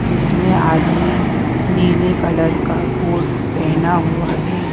जिसमें आदमी नीले कलर का कोट पहना हुआ है।